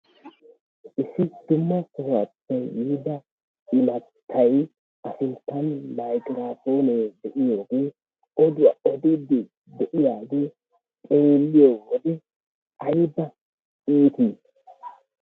Issi dumma sohuwaape yiida imattay a sinttan miykiraapoonee de'iyoogee oduwaa oodiidi eqqidaagee xeelliyoode ayba iitii!